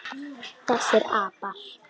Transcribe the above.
Þessir apar!